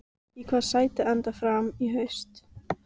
Í hvaða sæti endar Fram í haust?